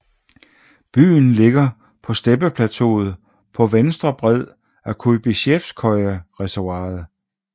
Byen ligger på steppeplateauet på venstre bred af Kujbysjevskojereservoiret